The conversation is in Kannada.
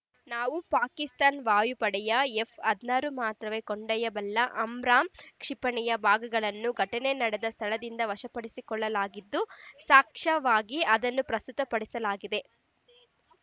ನಾವು ಪಾಕಿಸ್ತಾನ್ ವಾಯುಪಡೆಯ ಎಫ್ ಹದಿನಾರು ಮಾತ್ರವೇ ಕೊಂಡೊಯ್ಯಬಲ್ಲ ಅಮ್ರಾಮ್ ಕ್ಷಿಪಣಿಯ ಭಾಗಗಳನ್ನು ಘಟನೆ ನಡೆದ ಸ್ಥಳದಿಂದ ವಶಪಡಿಸಿಕೊಳ್ಳಲಾಗಿದ್ದು ಸಾಕ್ಷ್ಯವಾಗಿ ಅದನ್ನೂ ಪ್ರಸ್ತುತ ಪಡಿಸಲಾಗಿದೆ